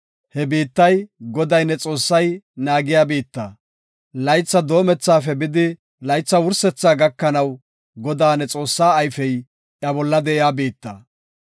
He biittay, Goday ne Xoossay naagiya biitta; laytha doomethaafe bidi laytha wursethaa gakanaw Godaa, ne Xoossaa ayfey iya bolla de7iya biitta.